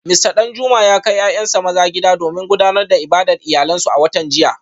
Mista Danjuma ya kai ‘ya’yansa maza gida domin gudanar da ibadar iyalansu a watan jiya